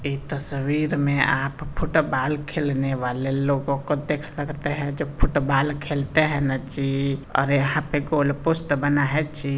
यह तस्वीर में आप फुटबाल खेलने वाले लोगों को देख सकते हैं जो फुटबाल खेलते हैं ना जी और यहाँ पर गोल पुस्त बना है जी----